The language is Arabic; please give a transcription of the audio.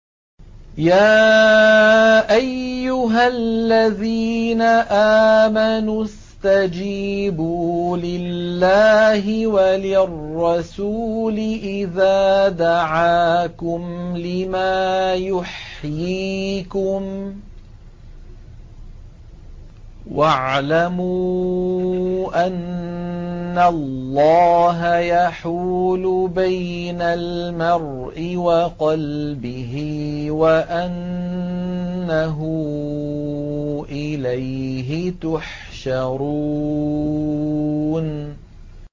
يَا أَيُّهَا الَّذِينَ آمَنُوا اسْتَجِيبُوا لِلَّهِ وَلِلرَّسُولِ إِذَا دَعَاكُمْ لِمَا يُحْيِيكُمْ ۖ وَاعْلَمُوا أَنَّ اللَّهَ يَحُولُ بَيْنَ الْمَرْءِ وَقَلْبِهِ وَأَنَّهُ إِلَيْهِ تُحْشَرُونَ